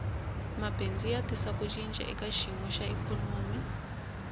mabindzu ya tisa ku cinca eka xiyimo xa ikhonomi